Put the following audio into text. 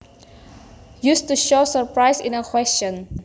Used to show surprise in a question